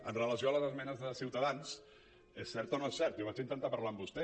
amb relació a les esmenes de ciutadans és cert o no és cert jo vaig intentar par·lar amb vostè